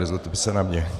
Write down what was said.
Nezlobte se na mě.